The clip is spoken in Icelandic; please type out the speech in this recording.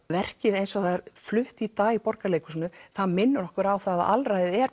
verkið eins og það er flutt í dag í Borgarleikhúsinu það minnir okkur á að alræðið er